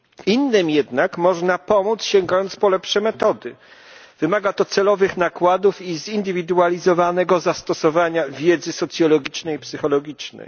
Innym jednak można pomóc, sięgając po lepsze metody. Wymaga to celowych nakładów i zindywidualizowanego zastosowania wiedzy socjologicznej i psychologicznej.